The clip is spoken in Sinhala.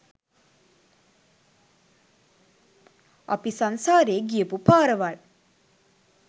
අපි සංසාරේ ගියපු පාරවල්.